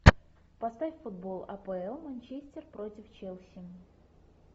поставь футбол апл манчестер против челси